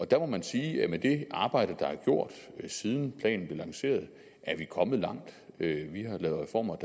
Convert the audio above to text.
der må man sige at med det arbejde der er gjort siden planen blev lanceret er vi kommet langt vi har lavet reformer